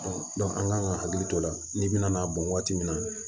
an kan ka hakili to o la n'i bina n'a bɔn waati min na